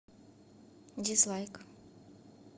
дизлайк